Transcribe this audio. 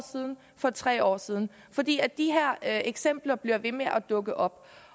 og tre år siden fordi de her eksempler bliver ved med at dukke op